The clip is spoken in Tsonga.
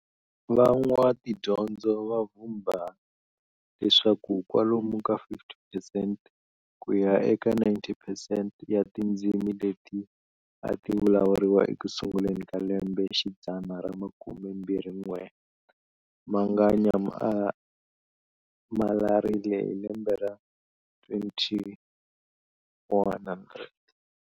Van'watidyondzo va vhumba leswaku kwalomu ka 50 percent ku ya eka 90 percent ya tindzimi leti a tivulavuriwa ekusunguleni ka lembe xidzana ra makumembirhi n'we manga manyamalarile hi lembe ra 2100.